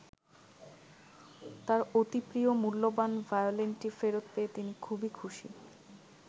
তাঁর অতি প্রিয় মূল্যবান ভায়োলিনটি ফেরত পেয়ে তিনি খুবই খুশি।